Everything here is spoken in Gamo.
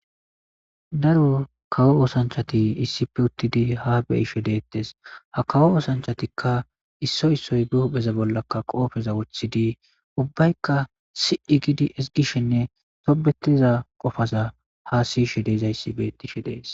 Daro kawo oothanchati issippe uttidi haa be'ishe deetes. Ha kawo oothanchatika issoy issoy be hupheza bollaka qoofeza woththidi ubbayka si'i giidi ezgishenne tobetiza qofaza haasa'ishe de'izaysa beetishe de'ees.